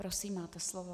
Prosím, máte slovo.